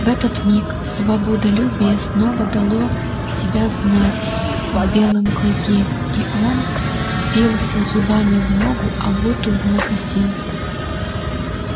в этот миг свободолюбие снова дало себя знать в белом клыке и он впился зубами в ногу обутую в мокасин